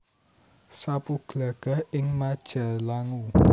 Sapu Glagah ing Majalangu